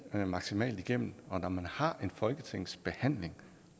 maksimalt igennem og når man har en folketingsbehandling